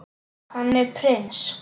Hann er prins.